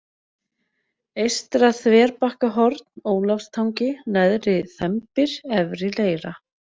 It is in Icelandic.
Eystra-Þverbakkahorn, Ólafstangi, Neðri-Þembir, Efri-Leira